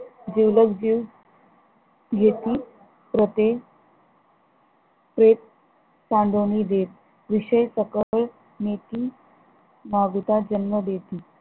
जिवलग जीव घेतील प्रते प्रेत सांडूनि देत, विषय सकळ नीती मागुता जन्म देती